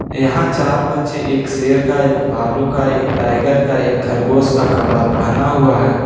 यहां चार बच्चे एक शेर का एक भालू का एक टाइगर का एक खरगोश का कपड़ा पहना हुआ है।